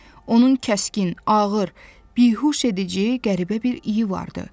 Onun kəskin, ağır, bihuşedici, qəribə bir iyi vardı.